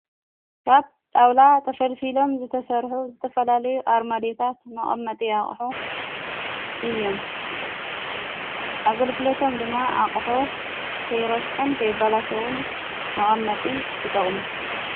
ካብ ጣውላ ተፈልፊሎም ዝተሠርሑ ዝተፈላለዩ ኣርመዲታ መቐመጢ ኣቕሑ እዮም ኣገልግሎቶም ድማ ኣቕሑ ከይሮስሕን ከይበላሾዉን መቐመጢ ይጠቕሙ።